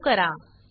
save करा